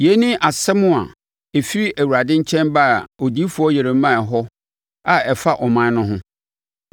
Yei ne asɛm a ɛfiri Awurade nkyɛn baa odiyifoɔ Yeremia hɔ a ɛfa aman no ho.